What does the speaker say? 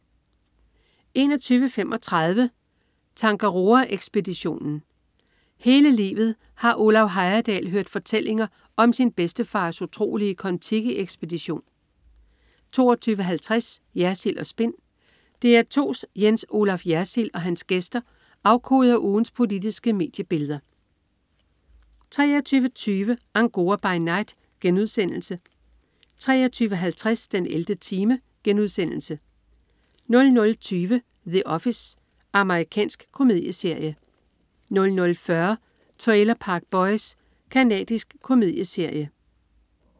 21.35 Tangaroa-ekspeditionen. Hele livet har Olav Heyerdahl hørt fortællinger om sin bedstefars utrolige Kon Tiki-ekspedition 22.50 Jersild & Spin. DR2's Jens Olaf Jersild og hans gæster afkoder ugens politiske mediebilleder 23.20 Angora by Night* 23.50 den 11. time* 00.20 The Office. Amerikansk komedieserie 00.40 Trailer Park Boys. Canadisk komedieserie